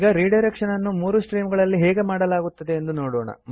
ಈಗ ರಿಡೈರೆಕ್ಷನ್ ಅನ್ನು 3 ಸ್ಟ್ರೀಮ್ ಗಳಲ್ಲಿ ಹೇಗೆ ಮಾಡಲಾಗುತ್ತದೆ ಎಂದು ನೋಡೋಣ